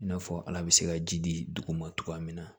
I n'a fɔ ala bɛ se ka ji di dugu ma cogoya min na